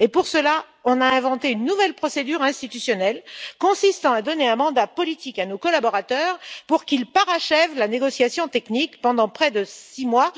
Et pour cela, on a inventé une nouvelle procédure institutionnelle consistant à donner un mandat politique à nos collaborateurs pour qu'ils parachèvent la négociation technique pendant près de 6 mois